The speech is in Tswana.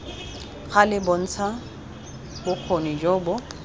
gale bontsha bokgoni jo bo